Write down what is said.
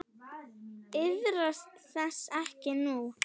Iðrast þess ekki nú.